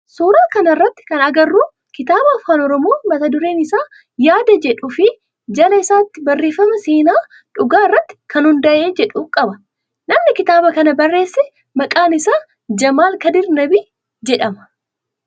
Suuraa kana irratti kana agarru kitaaba afaan oromoo mata dureen isaa yaada jedhu fi jala isaatti barreeffama seenaa dhugaa irratti kan hundaa'e jedhu qaba. Namni kitaaba kana barreesse maqaan isaa Jamaal kadir Nabii jedhama.